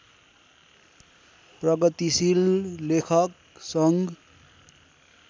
प्रगतिशील लेखक सङ्घ